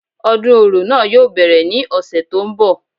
Odún orò náà yóò bẹ́rẹ̀ ní ọ̀sẹ̀ tó ń bọ̀